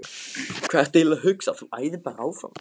Hvað ertu eiginlega að hugsa. þú æðir bara áfram!